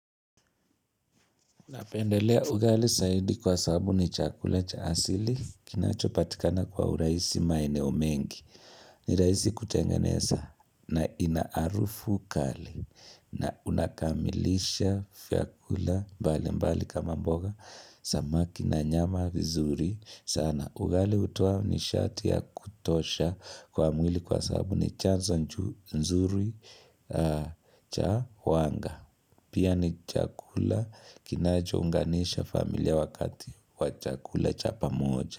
Napendelea ugali saidi kwa sabu ni chakula cha asili, kinachopatikana kwa uraisi maeneo mengi, ni rahisi kutengeneza na ina arufu kali na unakamilisha fiakula mbalimbali kama mboga, samaki na nyama vizuri sana. Ugali hutowa nishati ya kutosha kwa mwili kwa sabu ni chanzo nzuri cha wanga. Pia ni chakula kinacho unganisha familia wakati wa chakula cha pamoja.